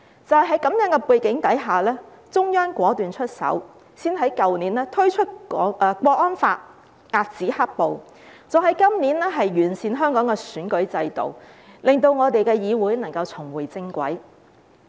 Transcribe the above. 在這樣的背景下，中央果斷出手，先在去年推出《香港國安法》，遏止"黑暴"，再在今年完善香港的選舉制度，令我們的議會能夠重回正軌。